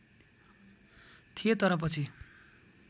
थिए तर पछि